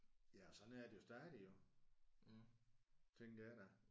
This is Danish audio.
Ja og sådan er det jo stadig jo. Tænker jeg da